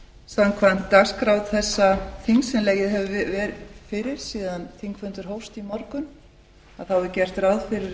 samkvæmt dagskrá þessa þings sem legið hefur fyrir síðan þingfundur hófst í morgun er gert ráð fyrir að að